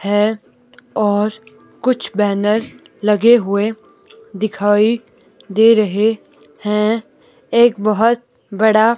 है और कुछ बैनर लगे हुए दिखाई दे रहे हैं एक बहुत बड़ा--